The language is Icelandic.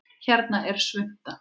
Hérna er svunta